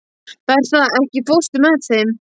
Bertha, ekki fórstu með þeim?